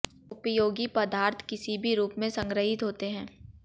उपयोगी पदार्थ किसी भी रूप में संग्रहित होते हैं